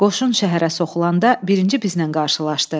Qoşun şəhərə soxulanda birinci bizlə qarşılaşdı.